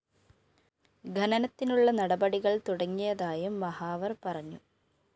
ഖനനത്തിനുള്ള നടപടികള്‍ തുടങ്ങിയതായും മഹാവര്‍ പറഞ്ഞു